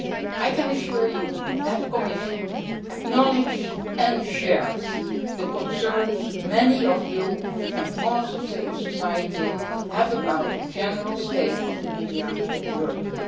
I can assure you that the Commission acknowledges and shares the concerns that many of you and parts of civil society have about the general state of the media in Europe.